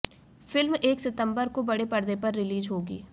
film एक सितंबर को बड़े पर्दे पर रिलीज होगी